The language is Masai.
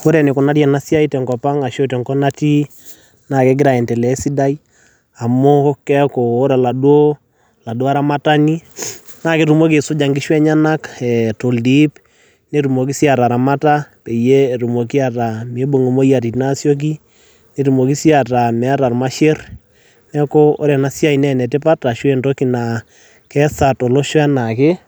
Kore enikunari ena siai tenkop ang' ashu tenkop natii naake egira aiendelea esidai amu keeku ora oladuo oladuo aramatani naake tumoki aisuja nkishu enyenak toldip, netumoki sii ataramata pee mibung' moyiaritin aasioki, netumoki sii ataa meeta irmasher. Neeku ore ena siai naa ene tipat ashu entoki naa keesa tolosho enaake